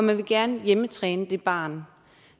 man vil gerne hjemmetræne det barn